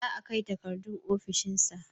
The papers will be submitted to his office